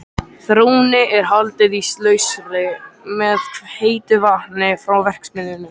Þrónni er haldið íslausri með heitu vatni frá verksmiðjunni.